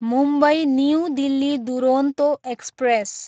Mumbai, new Delhi Duronto express